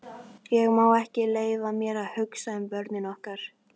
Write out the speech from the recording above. Ég má ekki leyfa mér að hugsa um börnin okkar.